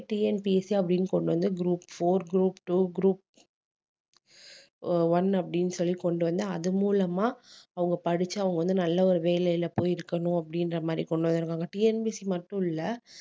TNPSC அப்படின்னு கொண்டு வந்து group four group two group o~ one அப்படின்னு சொல்லி கொண்டு வந்து அது மூலமா அவங்க படிச்சு அவங்க வந்து நல்ல ஒரு வேலையில போயிருக்கணும் அப்படின்ற மாதிரி கொண்டு வந்திருக்காங்க TNPSC மட்டும் இல்லை